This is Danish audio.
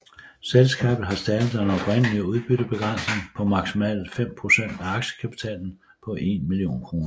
Selskabet har stadig den oprindelige udbyttebegrænsning på maksimalt fem procent af aktiekapitalen på en million kroner